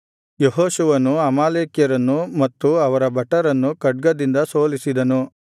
ಯೆಹೋಶುವನು ಅಮಾಲೇಕ್ಯರನ್ನು ಮತ್ತು ಅವರ ಭಟರನ್ನು ಖಡ್ಗದಿಂದ ಸೋಲಿಸಿದನು